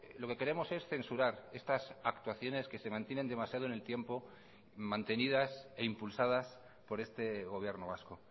lo que queremos es censurar estas actuaciones que se mantienen demasiado en el tiempo mantenidas e impulsadas por este gobierno vasco